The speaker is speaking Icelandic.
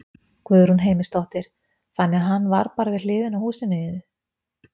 Guðrún Heimisdóttir: Þannig að hann var bara við hliðina á húsinu þínu?